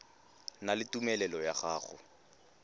na le tumelelo ya go